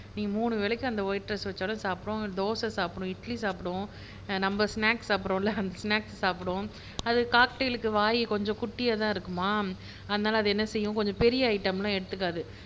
நீங்க மூணு வேலைக்கும் அந்த ஒயிட் ரைஸ் வச்சாலும் சாப்பிடும் தோசை சாப்பிடும் இட்லி சாப்பிடும் நம்ம ஸ்நாக்ஸ் சாப்பிடுறோம் இல்ல அந்த ஸ்நாக்ஸ் சாப்பிடும் அது காக்டெய்ல்க்கு வாய்